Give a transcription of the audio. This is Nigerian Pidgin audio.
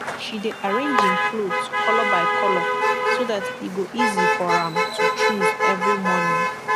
she dey arrang en kloth kolor by kolor so dat e go easy for am to choose evry morning